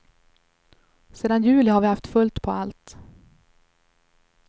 Sedan juli har vi haft fullt på allt.